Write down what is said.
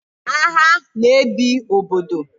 Agha na ebi obodo